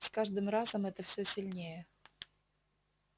с каждым разом это всё сильнее